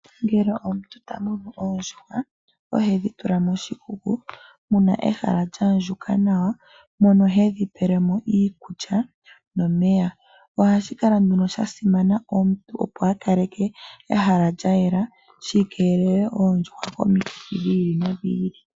Uuna omuntu ta munu oondjuhwa ohe dhi tula moshikuku mu na ehala lyaandjuka nawa mono hedhi pelemo iikulya nomeya. Ohashi kala sha simana omuntu opo a kaleke ehala lya yela shikeelele oondjuhwa komikithi dha yooloka.